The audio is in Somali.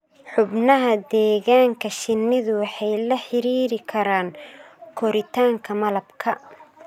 Xubnaha deegaanka shinnidu waxay la xidhiidhi karaan koritaanka malabka.